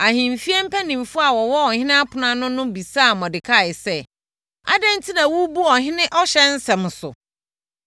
Ahemfie mpanimfoɔ a wɔwɔ ɔhene ɛpono ano no bisaa Mordekai sɛ, “Adɛn enti na worebu ɔhene ɔhyɛ nsɛm so?”